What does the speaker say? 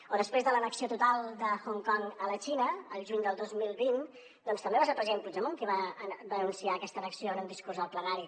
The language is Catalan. o després de l’annexió total de hong kong a la xina al juny del dos mil vint doncs també va ser el president puigdemont qui va anunciar aquesta annexió en un discurs al plenari